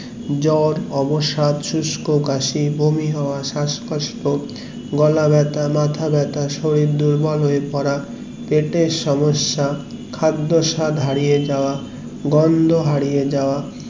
জোর অবসাদ শুস্ক কাশি বমি হওয়া শাসকষ্ট গলা ব্যাথা মাথা বাটা শরীর দুর্বল হয়ে পড়া পিটার সমস্যা খাদ্র স্বাদ হারিয়ে যাওয়া গন্ধ হারিয়ে যাওয়া